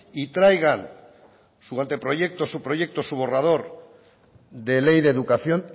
y traigan su anteproyecto su proyecto su borrador de ley de educación